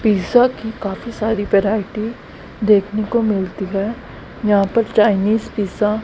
pizza की काफी सारी वैरायटी देखने को मिलती है जहां पर चाइनीस पिज़्ज़ा --